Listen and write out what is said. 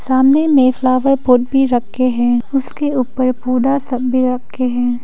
सामने में flower pot भी रखे है । उसके पौधा सब भी रखे है।